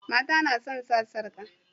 Mata nasan sa sarƙa